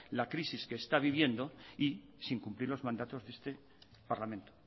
la crisis que está viviendo y sin cumplir los mandatos de este parlamento